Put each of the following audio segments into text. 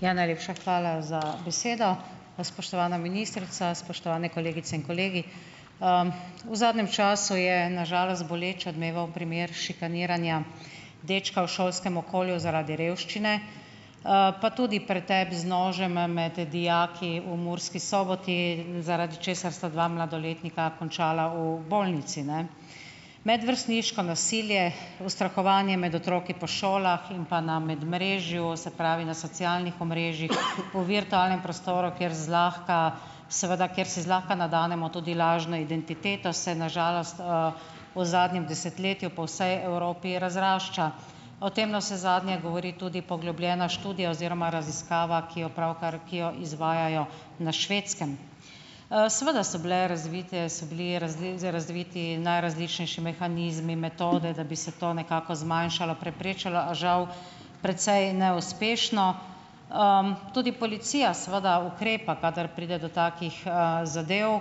Ja, najlepša hvala za besedo! Spoštovana ministrica, spoštovani kolegice in kolegi! V zadnjem času je na žalost boleč odmeval primer šikaniranja dečka v šolskem okolju zaradi revščine, pa tudi pretep z nožema med dijaki v Murski soboti, zaradi česar sta dva mladoletnika končala v bolnici, ne? Medvrstniško nasilje, ustrahovanje med otroki po šolah in pa na medmrežju, se pravi, na socialnih omrežjih, v virtualnem prostoru, kjer zlahka seveda kjer si zlahka nadenemo tudi lažno identiteto, se na žalost v zadnjem desetletju po vsej Evropi razrašča. O tem navsezadnje govori tudi poglobljena študija oziroma raziskava, ki jo pravkar, ki jo izvajajo na Švedskem. Seveda so bile razvite, so bili razviti najrazličnejši mehanizmi, metode, da bi se to nekako zmanjšalo, preprečilo, a žal, precej neuspešno. Tudi policija, seveda, ukrepa, kadar pride do takih, zadev,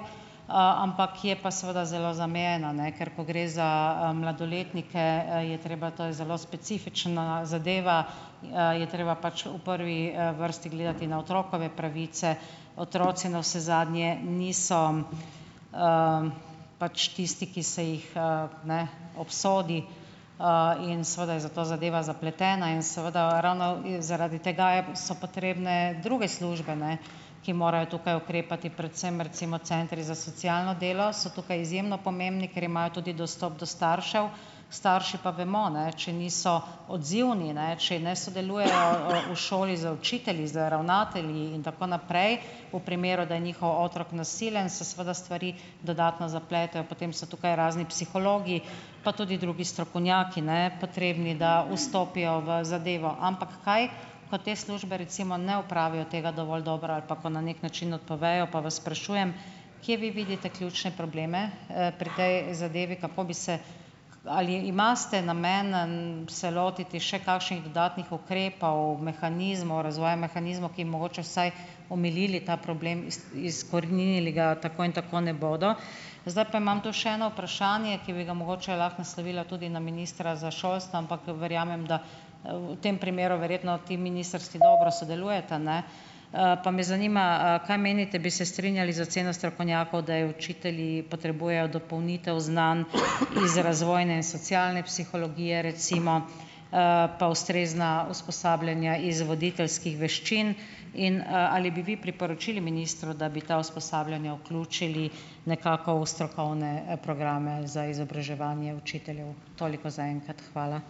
ampak je pa seveda zelo zamejena, ne, ker ko gre za, mladoletnike, je treba, to je zelo specifična zadeva, je treba pač v prvi, vrsti gledati na otrokove pravice. Otroci navsezadnje niso pač tisti, ki se jih, ne, obsodi in seveda je zato zadeva zapletena in seveda ravno zaradi tega so potrebne druge službe, ne, ki morajo tukaj ukrepati, predvsem recimo centri za socialno delo so tukaj izjemno pomembni, ker imajo tudi dostop do staršev, starši pa vemo, ne, če niso odzivni, ne, če ne sodelujejo v šoli z učitelji, z ravnatelji in tako naprej, v primeru, da je njihov otrok nasilen, se seveda stvari dodatno zapletejo. Potem so tukaj razni psihologi, pa tudi drugi strokovnjaki, ne, potrebni, da vstopijo v zadevo. Ampak kaj ko te službe, recimo, ne opravijo tega dovolj dobro ali pa kot na neki način odpovejo, pa vas sprašujem, kje vi vidite ključne probleme, pri tej zadevi? Kako bi se, ali imate namen, se lotiti še kakšnih dodatnih ukrepov, mehanizmov, razvoja mehanizmov, ki mogoče vsaj omilili ta problem, izkoreninili ga tako in tako ne bodo? Zdaj pa imam tu še eno vprašanje, ki bi ga mogoče lahko naslovila tudi na ministra za šolstvo, ampak verjamem da, v tem primeru verjetno ti ministrstvi dobro sodelujeta, ne, pa me zanima, kaj menite, bi se strinjali z oceno strokovnjakov, da učitelji potrebujejo dopolnitev znanj iz razvojne in socialne psihologije, recimo, pa ustrezna usposabljanja iz voditeljskih veščin in, ali bi vi priporočili ministru, da bi ta usposabljanja vključili nekako v strokovne programe za izobraževanje učiteljev? Toliko za enkrat, hvala.